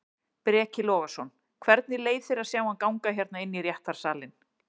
Breki Logason: Hvernig leið þér að sjá hann ganga hérna inn í réttarsalinn?